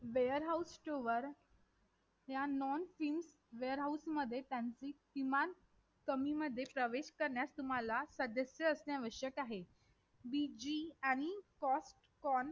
warehouse store या non stinware house मध्ये त्यांची किमान कमी मध्ये प्रवेश करणे साठी तुम्हाला register आवश्यक आहे VG आणि cost con